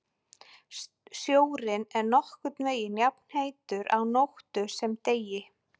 Sjórinn er nokkurn veginn jafnheitur á nóttu sem degi.